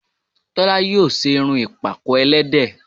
Tólá yíò ṣe irun ìpàkọ́ ẹlẹ́dẹ̀